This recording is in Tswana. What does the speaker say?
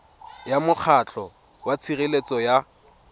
ya mokgatlho wa tshireletso ya